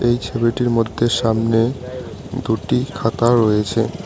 এই ছবিটির মধ্যে সামনে দুটি খাতা রয়েছে।